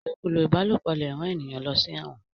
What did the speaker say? ilokulo ìbálòpọ̀ lẹ rán ènìyàn ló sí èwòn.